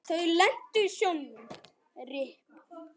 Þau lentu í sjónum.